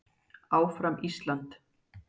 ÁFRAM ÍSLAND.